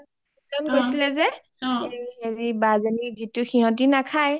যন গৈছিলে যে এই হেৰি বা যনি যিটো সিহতি নাখাই